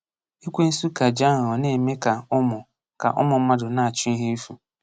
Ekwensu ka ji aghụghọ na-eme ka ụmụ ka ụmụ mmadụ na-achụ ihe efu.